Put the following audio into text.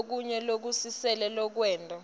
lokunyenti lokusilele lokwenta